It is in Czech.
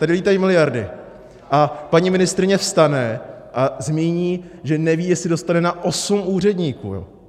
Tady lítají miliardy a paní ministryně vstane a zmíní, že neví, jestli dostane na osm úředníků.